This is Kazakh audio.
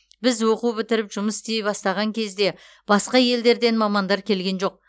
біз оқу бітіріп жұмыс істей бастаған кезде басқа елдерден мамандар келген жоқ